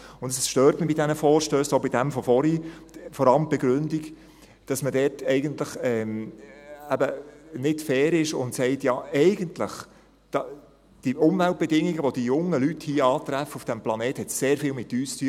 Und das stört mich bei diesen Vorstössen, auch bei jenem von vorhin, vor allem die Begründung, weil man dort eigentlich nicht fair ist und sagt: «Ja, eigentlich haben die Umweltbedingungen, die die jungen Leute hier antreffen, auf diesem Planet, sehr viel mit uns zu tun.